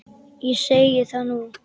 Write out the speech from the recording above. Ég segi það nú!